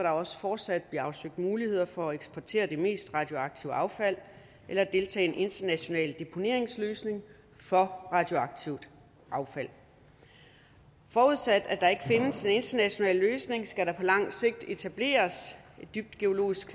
også fortsat blive afsøgt muligheder for at eksportere det mest radioaktive affald eller deltage i en international deponeringsløsning for radioaktivt affald forudsat at der ikke findes en international løsning skal der på lang sigt etableres et dybt geologisk